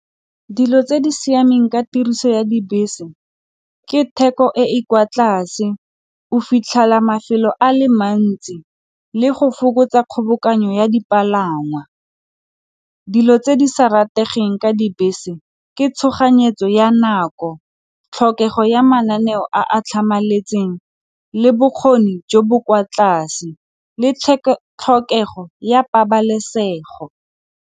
Dilo tse di siameng ka tiriso ya dibese ke theko e e kwa tlase, o fitlhela mafelo a le mantsi, le go fokotsa kgobokanyo ya dipalangwa dilo tse di sa rategeng ka dibese ke tshoganyetso ya nako, tlhokego ya mananeo a a tlhamaletseng le bokgoni jo bo kwa tlase le tlhokego ya pabalesego.